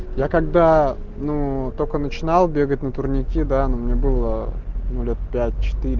я когда ну только начинал бегать на турники да ну мне было ну лет пять четыре